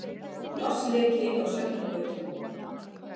Vatnsleki á Sjafnargötu